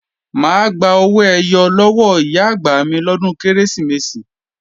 Mà á gba owó ẹyọ lọ́wọ́ Ìyá-àgbà mi lọ́dún Kérésìmesì